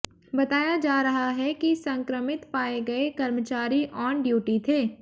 बताया जा रहा है कि संक्रमित पाए गए कर्मचारी ऑन ड्यूटी थे